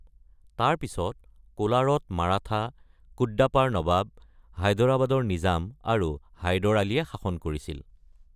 তাৰ পিছত কোলাৰত মাৰাঠা, কুদ্দাপাৰ নবাব, হায়দৰাবাদৰ নিজাম আৰু হায়দৰ আলীয়ে শাসন কৰিছিল।